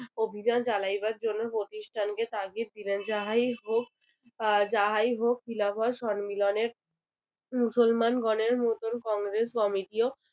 অভিযান চালাইবার জন্য প্রতিষ্ঠানকে তাগিদ দিলেন। যাহাই হোক আহ যাহাই হোক খিলাফত সম্মিলনের মুসলমান গণের নতুন কংগ্রেস committee ও